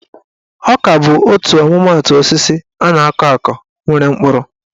Ọka bụ otu ọmụmaatụ osisi a na-akọ akọ nwere mkpụrụ.